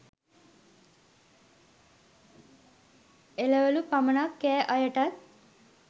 එළවලු පමණක් කෑ අය ටත්